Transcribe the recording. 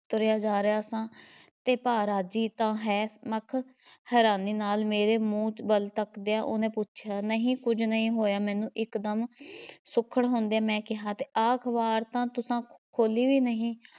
ਤੁਰਿਆ ਜਾ ਰਿਹਾਂ ਸਾਂ ਤੇ ਭਾ ਰਾਜੀ ਤਾਂ ਹੈ ਮਖ਼, ਹੈਰਾਨੀ ਨਾਲ਼ ਮੇਰੇ ਮੂੰਹ ਵੱਲ ਤੱਕਦਿਆਂ ਉਹਨੇ ਪੁੱਛਿਆ, ਨਹੀਂ ਕੁਝ ਨਹੀਂ ਹੋਇਆ ਮੈਂਨੂੰ ਇੱਕ ਦਮ ਸੁਖ਼ੜ ਹੁੰਦਿਆਂ ਮੈਂ ਕਿਹਾ ਤੇ ਆਹ ‘ਖ਼ਬਾਰ ਤਾਂ ਤੁਸਾਂ ਖੋਲ੍ਹੀ ਵੀ ਨਹੀਂ,